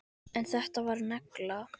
En þetta var negla.